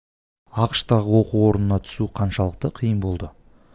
ақш тағы оқу орнына түсу қаншалықты қиын болды